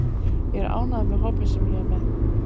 Ég er ánægður með hópinn sem ég er með.